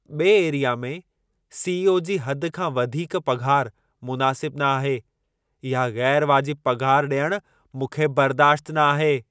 बे Area CEO सी.ई.ओ. जी हद खां वधीक पघारु मुनासिबु न आहे। इहा ग़ैरु वाजिबु पघार ॾियण मूंखे बर्दाश्त न आहे।